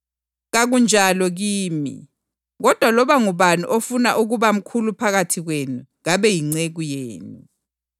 Kakunjalo kini. Kodwa loba ngubani ofuna ukuba mkhulu phakathi kwenu kabe yinceku yenu,